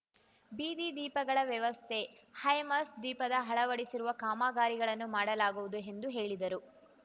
ಬೀದಿ ದೀಪಗಳ ವ್ಯವಸ್ಥೆ ಹೈಮಾಸ್ಟ್ ದೀಪದ ಅಳವಡಿಸುವ ಕಾಮಗಾರಿಗಳನ್ನು ಮಾಡಲಾಗುವುದು ಎಂದು ಹೇಳಿದರು